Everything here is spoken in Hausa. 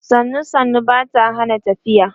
sannu sannu Bata Hana tafiya